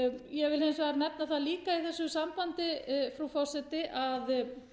ég vil hins vegar nefna það líka í þessu sambandi frú forseti að